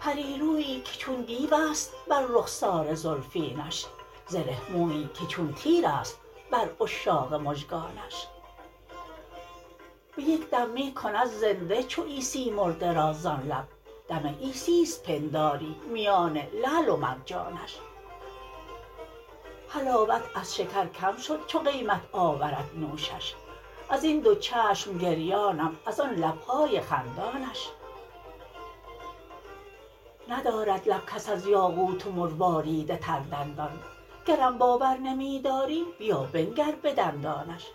پریرویی که چون دیوست بر رخسار زلفینش زره مویی که چون تیرست بر عشاق مژگانش به یک دم می کند زنده چو عیسی مرده را زان لب دم عیسی ست پنداری میان لعل و مرجانش حلاوت از شکر کم شد چو قیمت آورد نوشش ازین دو چشم گریانم از آن لبهای خندانش ندارد لب کس از یاقوت و مروارید تر دندان گرم باور نمی داری بیا بنگر به دندانش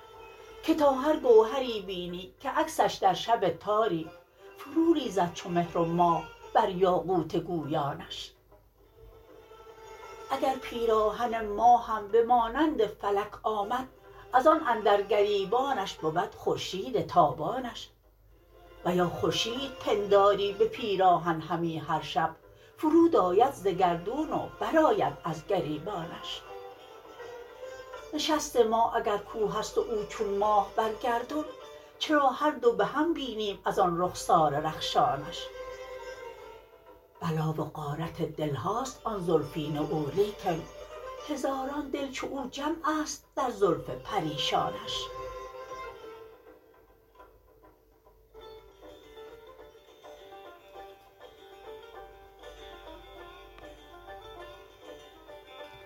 که تا هر گوهری بینی که عکسش در شب تاری فرو ریزد چو مهر و ماه بر یاقوت گویانش اگر پیراهن ماهم به مانند فلک آمد از آن اندر گریبانش بود خورشید تابانش و یا خورشید پنداری به پیراهن همی هر شب فرود آید ز گردون و برآید از گریبانش نشست ما اگر کوهست و او چون ماه بر گردون چرا هر دو به هم بینیم از آن رخسار رخشانش بلا و غارت دلهاست آن زلفین او لیکن هزاران دل چو او جمعست در زلف پریشانش